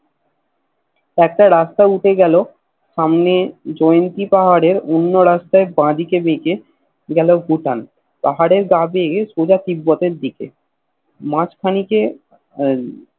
একটা রাস্তা উঠে গেল সামনের জয়ন্তী পাহাড়ের অন্য রাস্তায় বা দিকে বেকে গেল ভুটান পাহাড়ের গা বেয়ে সোজা তিব্বতের দিকে মাঝ খানিকেআহ